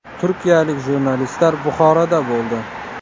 Turkiyalik jurnalistlar Buxoroda bo‘ldi.